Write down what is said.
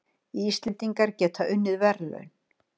Íslendingar geta unnið verðlaun